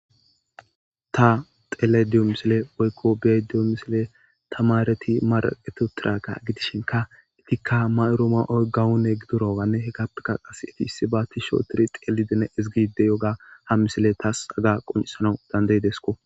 ta tele diyo misile woykko bediyo misile tamareti maraqeto tiraqa gidishinka itikka mayoro ma7oy gawune gidorawanne he gappeka qas eti issi baatti shootiri xeelidine izgide yooga ha misile taas aga qoncisanau dandayidesko